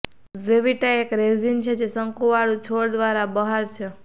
ઝેવિટ્ટા એક રેઝિન છે જે શંકુવાળું છોડ દ્વારા બહાર છે